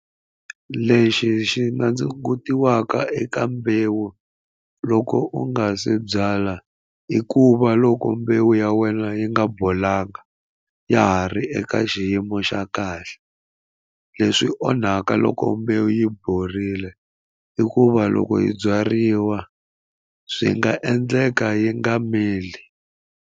Lexi xi na ndzi eka mbewu loko u nga se byala i ku va loko mbewu ya wena yi nga bolanga ya ha ri eka ka xiyimo xa kahle leswi onhaka loko mbewu yi borile i ku va loko hi byariwa swi nga endleka yi nga mili.